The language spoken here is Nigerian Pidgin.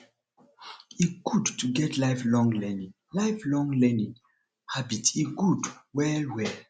e good to get lifelong learning lifelong learning habit e good well well